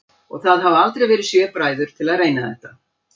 Og það hafa aldrei verið sjö bræður til að reyna þetta?